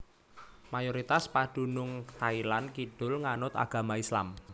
Mayoritas padunung Thailand Kidul nganut agama Islam